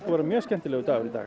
vera mjög skemmtilegur dagur í dag